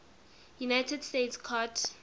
united states court